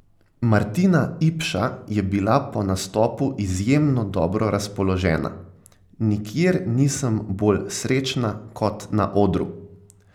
Martina Ipša je bila po nastopu izjemno dobro razpoložena: "Nikjer nisem bolj srečna kot na odru.